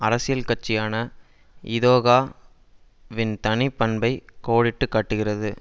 அரசியல் கட்சியான இதொகா வின் தனி பண்பை கோடிட்டு காட்டுகிறது